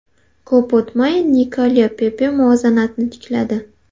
Ko‘p o‘tmay Nikolya Pepe muvozanatni tikladi.